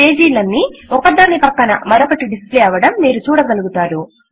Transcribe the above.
page లు అన్నీ ఒకదాని ప్రక్కన మరొకటి డిస్ప్లే అవడం మీరు చూడగలుగుతారు